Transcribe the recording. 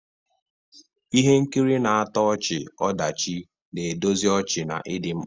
Ihe nkiri na-atọ ọchị-ọdachi na-edozi ọchị na ịdị mkpa.